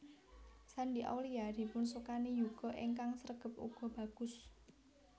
Shandy Aulia dipun sukani yuga ingkang sregep uga bagus